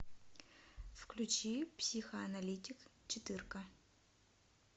включи психоаналитик четыре ка